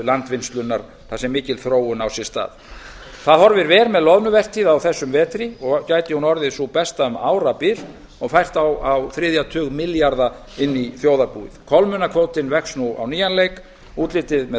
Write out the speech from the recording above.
landvinnslunnar þar sem mikil þróun á sér stað það horfir vel með loðnuvertíð á þessum vetri og gæti hún orðið sú besta um árabil og fært á þriðja tug milljarða inn í þjóðarbúið kolmunnakvótinn vex nú á nýjan leik útlitið með